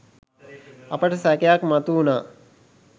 අපිට සැකයක් මතුවුණා.